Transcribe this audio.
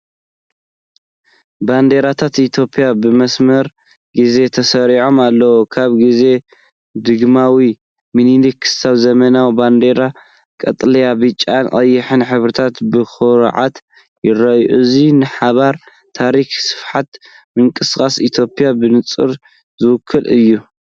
ባንዴራታት ኢትዮጵያ ብመስርዕ ግዜ ተሰሪዐን ኣለዋ። ካብ ግዜ ዳግማዊ ምኒሊክ ክሳብ ዘመናዊ ባንዴራ ቀጠልያ፡ ብጫን ቀይሕን ሕብርታት ብኹርዓት ይርአ። እዚ ንሓበን፣ ታሪኽ፣ ስፍሓት ምንቅስቓስ ኢትዮጵያ ብንጹር ዝውክል እዩ።